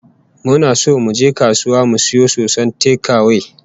Muna so zamu je kasuwa mu sayo soson tekawe